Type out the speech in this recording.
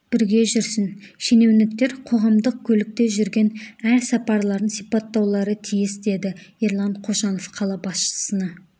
бірге жүрсін шенеуніктер қоғамдық көлікте жүрген әр сапарларын сипаттаулары тиіс деді ерлан қошанов қала басшысына